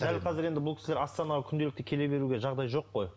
дәл қазір енді бұл кісілер астанаға күнделікті келе беруге жағдай жоқ қой